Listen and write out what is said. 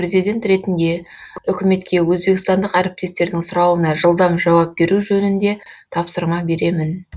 президент ретінде үкіметке өзбекстандық әріптестердің сұрауына жылдам жауап беру жөнінде тапсырма беремін